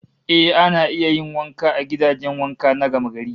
Eh, ana iya yin wanka a gidajen wanka na gamagari